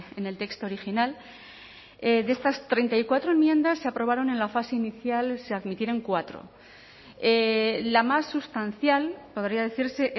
en el texto original de estas treinta y cuatro enmiendas se aprobaron en la fase inicial se admitieron cuatro la más sustancial podría decirse